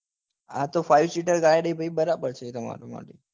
આ તો five sitter ગાડી બરાબર છે તમાર માટે